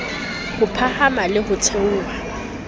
ho phahama le ho theoha